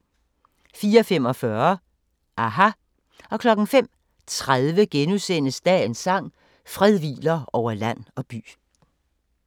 04:45: aHA! 05:30: Dagens sang: Fred hviler over land og by *